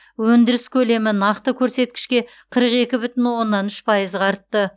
өндіріс көлемі нақты көрсеткішке қырық екі бүтін оннан үш пайызға артты